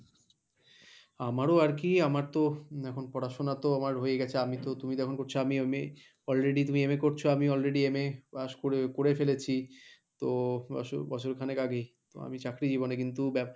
আমারও আর কি আমার তো এখন পড়াশোনা তো আমার হয়ে গেছে আমি তো তুমি তো এখন করছো আমি MA already তুমি MA করছো আমি already MA pass করে করে ফেলেছি তো বছর খানেক আগেই তো আমি চাকরি জীবনে কিন্তু